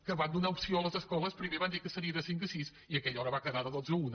que van donar opció a les escoles primer van dir que seria de cinc a sis i aquella hora va quedar de dotze a una